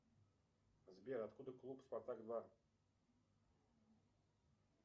сбер откуда клуб спартак два